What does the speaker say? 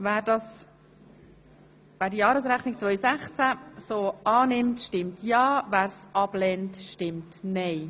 Wer die Jahresrechnung 2016 des Sportfonds so annimmt, stimmt ja, wer dies ablehnt, stimmt nein.